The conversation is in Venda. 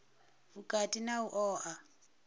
u vhukati na u oa